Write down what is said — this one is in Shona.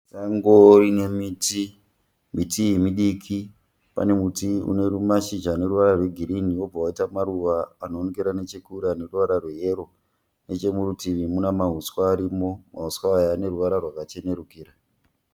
Sango rine miti, miti iyi midiki. Pane muti une mashizha ane ruvara rwe ghirini wobva waita maruva anoonekera nechekure ane ruvara rweyero nechemurutivi muna mahuswa arimo, mahuswa aya ane ruvara rwakachenerukira.